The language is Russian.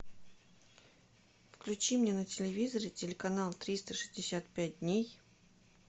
включи мне на телевизоре телеканал триста шестьдесят пять дней